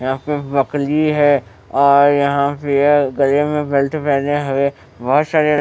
यहां पे बकली है और यहां पे गले में बेल्ट पहने हुए बहोत सारे--